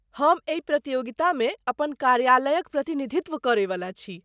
हम एहि प्रतियोगितामे अपन कार्यालयक प्रतिनिधित्व करैवाला छी।